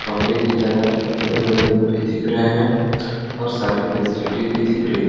कमरे की तरह बड़े-बड़े रूम भी दिखे है और सारी फैसिलिटी भी दिख रही है।